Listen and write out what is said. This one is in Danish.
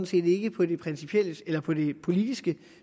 set ikke på det politiske